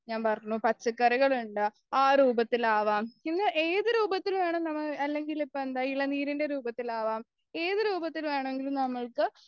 ഞാൻ പറഞ്ഞു പച്ചക്കറികളുണ്ട് ആരൂപത്തിലാവാം പിന്നെ ഏതുരൂപത്തിൽ വേണം നമ്മൾ അല്ലെങ്കിൽ ഇപ്പോ എന്താ ഇളനീരിന്റെ രൂപത്തിലാവാം ഏതുരൂപത്തിൽ വേണമെങ്കിലും നമ്മൾക്